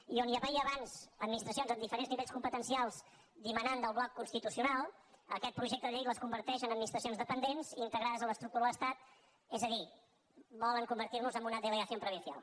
i on hi havia abans administracions amb diferents nivells competencials que dimanaven del bloc constitucional aquest projecte de llei les converteix en administracions dependents integrades en l’estructura de l’estat és a dir volen convertir nos en una delegación provincial